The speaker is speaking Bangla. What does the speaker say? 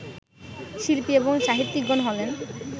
শিল্পী এবং সাহিত্যিকগণ হলেন